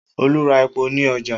Olu ra epo ní ọjà